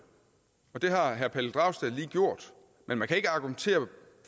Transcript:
og det har herre pelle dragsted lige gjort men man kan ikke argumentere